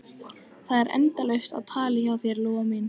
Það er endalaust á tali hjá þér, Lóa mín.